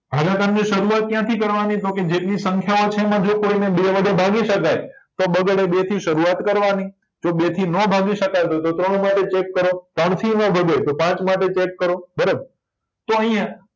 ભાગાકારની સર્વાત ક્યાંથી કરવાની તો કે જેટલી સંખ્યાઓ છે એમાં જો કોયને બે વડે ભાગી શકાય તો બગડે બે થી સર્વાત કરવાની જો બેથી નો ભાગી શકાય તો તો ત્રણ માટે ચેક કરો ત્રણથીય નો ભગાય તો પાંચ માટે ચેક કરો બરાબર તો આયા